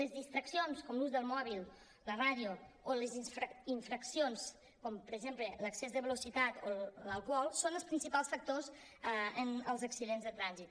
les distraccions com l’ús del mòbil la ràdio o les infraccions com per exemple l’excés de velocitat o l’alcohol són els principals factors en els accidents de trànsit